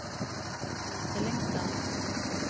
Fyllingsdalen